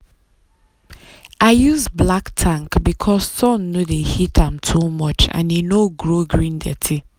i use black tank because sun no dey heat am too much and e no grow green dirty.